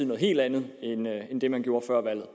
noget helt andet end det man gjorde før valget